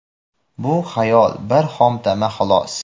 Bu xayol, bir xomtama, xolos.